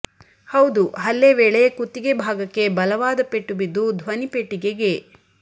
ಹೌದು ಹಲ್ಲೆ ವೇಳೆ ಕುತ್ತಿಗೆ ಭಾಗಕ್ಕೆ ಬಲವಾದ ಪೆಟ್ಟು ಬಿದ್ದು ಧ್ವನಿಪೆಟ್ಟಿಗೆಗೆ